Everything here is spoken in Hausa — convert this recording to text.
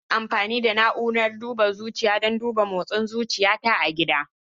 Ina amfani da na'urar duba zuciya don duba motsin zuciyata a gida.